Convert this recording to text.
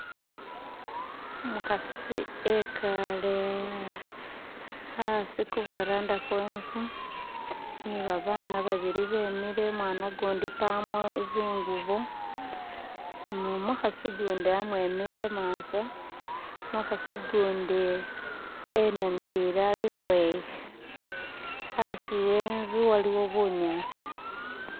Umukasi ekale hasi ku varanda kwenzu ni babana babiri bemile umwana gundi mpamo zinguvo, numukasi gundi amwemile emaso, numukasi gundi enamilile alukweya hasi wenzu waliwo bunyansi